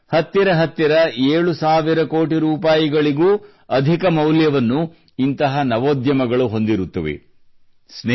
ಅಂದರೆ ಹತ್ತಿರ ಹತ್ತಿರ ಏಳು ಸಾವಿರ ಕೋಟಿ ರೂಪಾಯಿಗೂ ಅಧಿಕ ಮೌಲ್ಯವನ್ನು ಇಂತಹ ನವೋದ್ಯಮಗಳು ಹೊಂದಿರುತ್ತವೆ